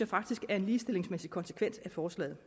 faktisk er en ligestillingsmæssig konsekvens af forslaget